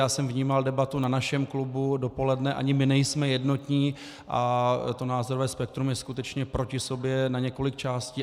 Já jsem vnímal debatu na našem klubu dopoledne, ani my nejsme jednotní a to názorové spektrum je skutečně proti sobě na několik částí.